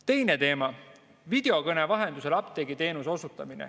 Teine teema, videokõne vahendusel apteegiteenuse osutamine.